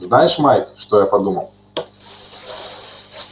знаешь майк что я подумал